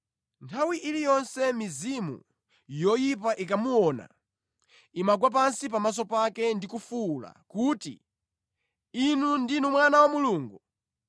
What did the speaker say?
Nthawi iliyonse mizimu yoyipa ikamuona, imagwa pansi pamaso pake ndi kufuwula kuti, “Inu ndinu Mwana wa Mulungu!”